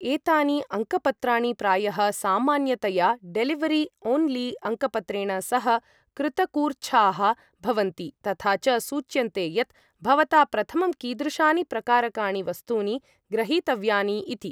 एतानि अङ्कपत्राणि प्रायः सामान्यतया डेलिवरी ओन्ली अङ्कपत्रेण सह कृतकूर्च्छाः भवन्ति, तथा च सूच्यन्ते यत् भवता प्रथमं कीदृशानि प्रकारकाणि वस्तूनि ग्रहीतव्यानि इति।